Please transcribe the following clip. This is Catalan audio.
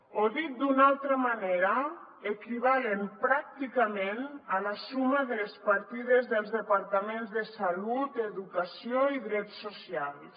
o dit d’una altra manera equivalen pràcticament a la suma de les partides dels departaments de salut educació i drets socials